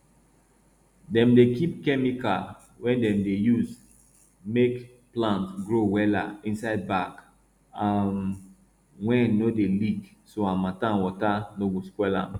dem dey kip chemical wey dem dey use make plant grow wella inside bag um wey no dey leak so harmattan water no go spoil am